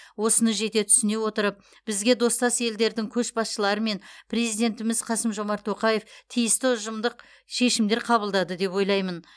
осыны жете түсіне отырып бізге достас елдердің көшбасшылары мен президентіміз қасым жомарт тоқаев тиісті ұжымдық шешімдер қабылдады деп ойлаймын